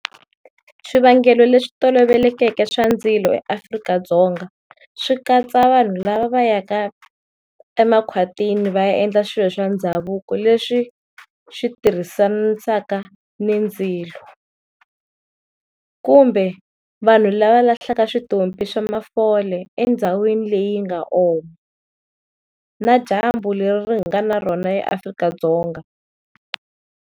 Swivangelo leswi tolovelekeke swa ndzilo eAfrika-Dzonga swi katsa vanhu lava va yaka emakhwatini va ya endla swilo swa ndhavuko leswi switirhisanisaka ni ndzilo, kumbe vanhu lava lahlaka switompi swa mafole endhawini leyi nga oma, na dyambu leri hi nga na rona eAfrika-Dzonga.